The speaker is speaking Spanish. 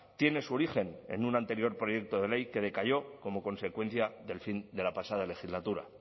tiene su origen en un anterior proyecto de ley que decayó como consecuencia del fin de la pasada legislatura